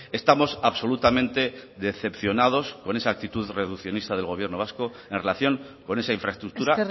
estamos absolutamente decepcionados con esa actitud reduccionista del gobierno vasco en relación con esa infraestructura